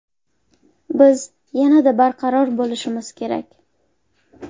Biz yanada barqaror bo‘lishimiz kerak.